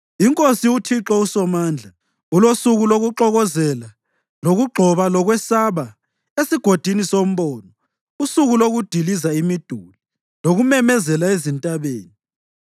INkosi, uThixo uSomandla, ulosuku lokuxokozela lokugxoba lokwesaba eSigodini soMbono, usuku lokudiliza imiduli lokumemezela ezintabeni.